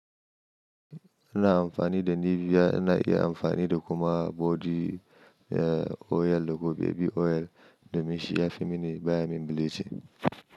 AIna amfani da Nivea ina iya amfani da kuma body oil da ko baby oil domin shi ya fi mini baya min bilichin.